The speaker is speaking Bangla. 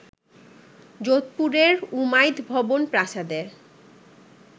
যোধপুরের ‘উমাইদ ভবন’ প্রাসাদে